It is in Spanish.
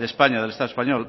españa del estado español